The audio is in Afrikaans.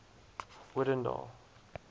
odendaal